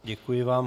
Děkuji vám.